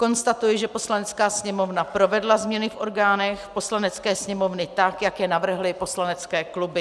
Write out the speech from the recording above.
Konstatuji, že Poslanecká sněmovna provedla změny v orgánech Poslanecké sněmovny tak, jak je navrhly poslanecké kluby.